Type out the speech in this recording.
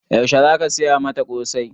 Yaushe za ka saya mata ƙosai?